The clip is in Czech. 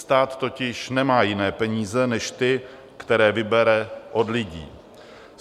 Stát totiž nemá jiné peníze než ty, které vybere od lidí.